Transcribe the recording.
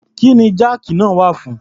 Kí ni jáàkì náà wà fún?